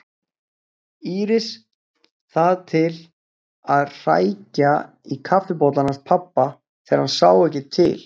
Íris það til að hrækja í kaffibollann hans pabba þegar hann sá ekki til.